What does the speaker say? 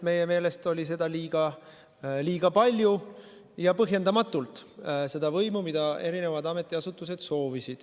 Meie meelest oli seda võimu, mida eri ametiasutused soovisid, liiga palju ja põhjendamatult.